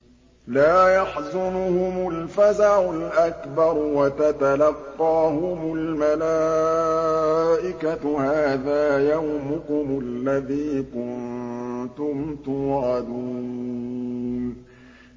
لَا يَحْزُنُهُمُ الْفَزَعُ الْأَكْبَرُ وَتَتَلَقَّاهُمُ الْمَلَائِكَةُ هَٰذَا يَوْمُكُمُ الَّذِي كُنتُمْ تُوعَدُونَ